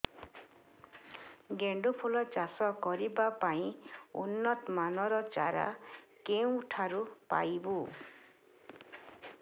ଗେଣ୍ଡୁ ଫୁଲ ଚାଷ କରିବା ପାଇଁ ଉନ୍ନତ ମାନର ଚାରା କେଉଁଠାରୁ ପାଇବୁ